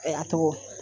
A tɔgɔ